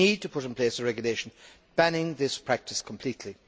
We need to put in place a regulation banning this practice completely.